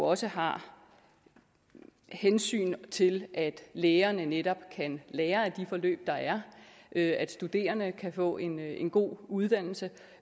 også har hensyn til at lægerne netop kan lære af de forløb der er at studerende kan få en en god uddannelse